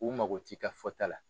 U mago ti ka fɔta la.